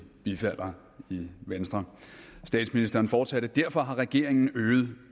bifalder i venstre statsministeren fortsatte derfor har regeringen øget